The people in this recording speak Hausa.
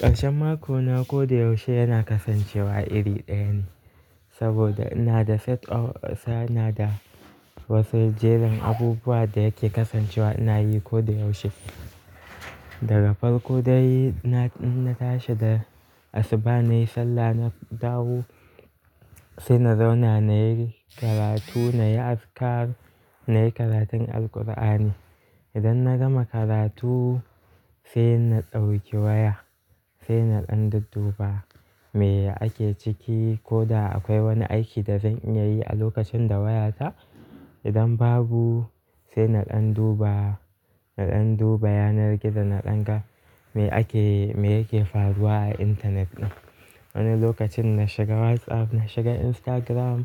Karshen mako na ko da yaushe yana kasancewa iri ɗaya ne, saboda ina da wasu jerin abubuwan da yake kasancewa ina yi ko da yaushe. Daga farko dai na, na tashi da asuba nayi sallah na dawo sai na zauna nayi karatu nayi azkar nayi karatun Alkur'ani. Idan na gama karatu sai na ɗauki waya sai na ɗan dudduba me ake ciki ko da akwai wani aiki da zan iya yi a lokacin da wayata. Idan babu sai na ɗan duba, na ɗan duba yanar gizo na ɗan ga me ake, me yake faruwa a intanet ɗin. Wani lokacin na shiga WhatsApp, na shiga Instagram